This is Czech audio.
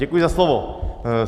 Děkuji za slovo.